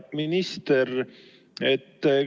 Hea minister!